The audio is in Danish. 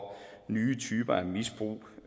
nye typer af misbrug